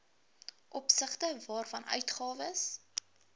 opsigte waarvan uitgawes